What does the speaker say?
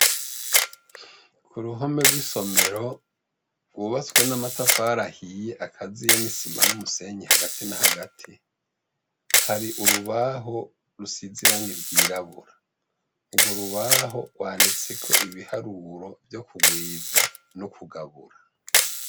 Ku ruhome rw'isomero wubatswe n'amatafarahiye akaziye n'isima n'umusenyi hagati na hagati hari urubaho rusize irange ryirabura urwo rubaho wandetseko ibiharuro vyo kugwiza n'ukugabura.